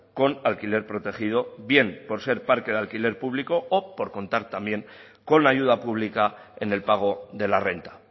con alquiler protegido bien por ser parque de alquiler público o por contar también con la ayuda pública en el pago de la renta